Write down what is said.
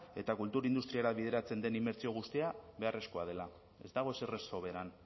eta kultur industriara bideratzen den inbertsio guztia beharrezkoa dela ez dago ezer ez soberan